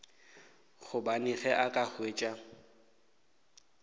gobane ge a ka hwetša